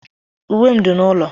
Uwe m dị n'ụlọ.